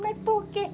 Mas por quê?